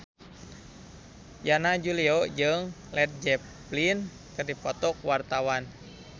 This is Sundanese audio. Yana Julio jeung Led Zeppelin keur dipoto ku wartawan